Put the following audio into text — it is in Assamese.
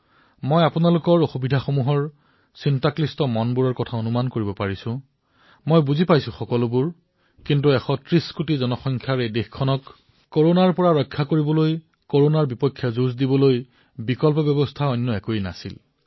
মই আপোনালোকৰ সমস্যা অনুধাৱন কৰিছো দুখ বুজিছো কিন্তু ভাৰতৰ দৰে ১৩০ কোটি আবাদীৰ এখন দেশত কৰনাৰ বিৰুদ্ধে যুঁজিবলৈ এই পদক্ষেপৰ অবিহনে অন্য পথ মোৰ ওচৰত নাই